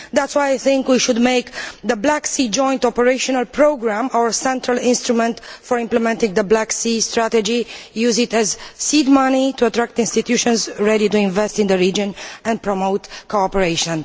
That is why we should make the Black Sea joint operational programme our central instrument for implementing the Black Sea strategy, using it as seed money to attract institutions ready to invest in the region and, hence, promote cooperation.